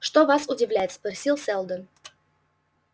что вас удивляет спросил сэлдон